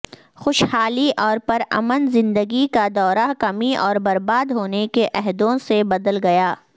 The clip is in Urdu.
خوشحالی اور پرامن زندگی کا دورہ کمی اور برباد ہونے کے عہدوں سے بدل گیا